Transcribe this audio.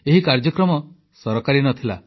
ଏହି କାର୍ଯ୍ୟକ୍ରମ ସରକାରୀ ନ ଥିଲା